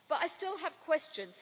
But I still have questions.